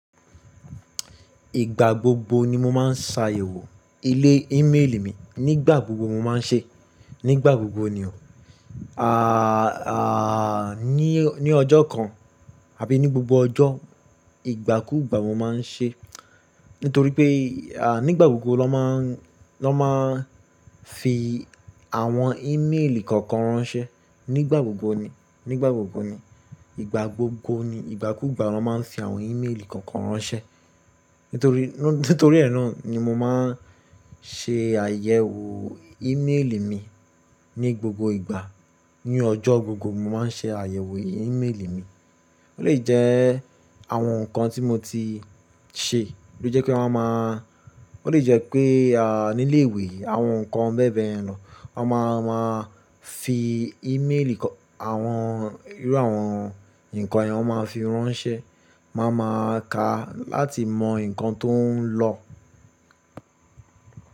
Ìgbà gbogbo ni mo máa ń ṣàyẹ̀wò ilé ímeèlì mi. Nígbà gbogbo mo máa ń ṣe, nígbà gbogbo ni o. À, à, ní ọjọ́ kan àbí ní gbogbo ọjọ́, ìgbàkúgbà mo má a ń ṣe. Nítorí pé, à, nígbà gbogbo ló má a ń, ló máa ń fi àwọn ímeèlì kọ̀ọ̀kan ránṣẹ́. Nígbà gbogbo ni, nígbà gbogbo ni. Ìgbà gbogbo ni. Ìgbàkúgbà ló má a ń fi àwọn ímeèlì kọ̀ọ̀kan ránṣẹ́. Nítorí ẹ́ náà ni mo máa ń ṣe àyẹ̀wò ímeèlì mi ní gbogbo ìgbà. Ní ọjọ́ gbogbo mo máa ń ṣe àyẹ̀wò ímeèlì mi. Ó lè jẹ́ àwọn nǹkan tí mo ti ṣe tó jẹ́ pé wọ́n máa má, ó lè jẹ́ pé, à, nílé ìwé àwọn nǹkan bẹ́ẹ̀ bẹ́ẹ̀ yẹn lọ. Wọ́n má a má a fi ímeèlì kọ-- àwọn, irú àwọn nǹkan yẹn wọn má a fi ránṣẹ́. Wọ́n má a má a ka láti mọ nǹkan tó ń lọ.